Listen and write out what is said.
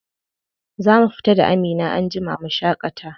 Za mu fita da Amina anjima mu shaƙata.